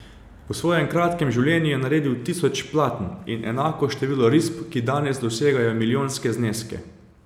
V svojem kratkem življenju je naredil tisoč platen in enako število risb, ki danes dosegajo milijonske zneske.